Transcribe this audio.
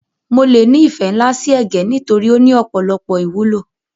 áMo le ni ìfẹ́ nlá si ẹ̀gẹ́ nitorí o ni ọ̀pọ̀lọpọ̀ ìwúlò